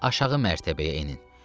Aşağı mərtəbəyə enin.